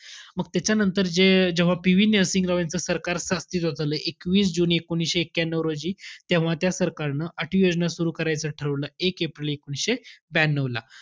मग त्याच्यानंतर जे जेव्हा PV नरसिंहरावांचं सरकार अस्तित्वात आलं. एकवीस जुने एकोणविशे एक्क्यानौ रोजी. तेव्हा त्या सरकारनं आठवी योजना सुरु करायचं ठरवलं. एक एप्रिल एकोणीशे ब्यानऊला.